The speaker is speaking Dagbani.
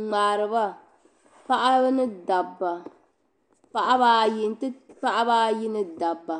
ŋmaariba paɣabaayi ni dabba.